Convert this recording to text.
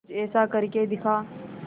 कुछ ऐसा करके दिखा